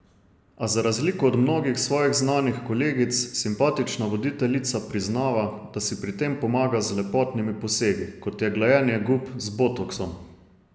A za razliko od mnogih svojih znanih kolegic simpatična voditeljica priznava, da si pri tem pomaga z lepotnimi posegi, kot je glajenje gub z botoksom.